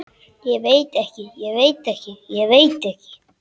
Ég veit ekki, ég veit ekki, ég veit ekki.